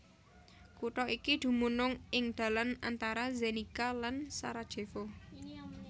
Kutha iki dumunung ing dalan antara Zenica lan Sarajevo